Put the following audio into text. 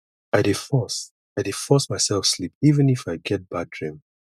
i dey force i dey force mysef sleep even if i get bad dream